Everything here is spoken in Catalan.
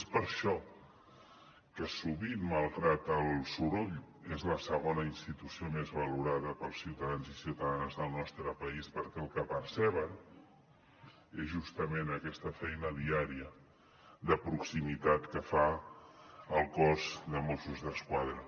és per això que sovint malgrat el soroll és la segona institució més valorada pels ciutadans i ciutadanes del nostre país perquè el que perceben és justament aquesta feina diària de proximitat que fa el cos de mossos d’esquadra